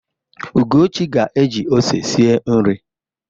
Ugochi ga-eji ose sie nri.